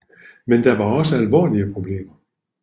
Men der var også alvorlige problemer